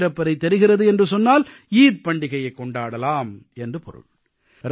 சந்திரப்பிறை தெரிகிறது என்று சொன்னால் ஈகை பண்டிகையைக் கொண்டாடலாம் என்று பொருள்